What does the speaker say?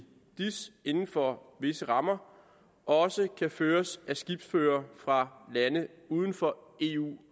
dis inden for visse rammer også kan føres af skibsførere fra lande uden for eu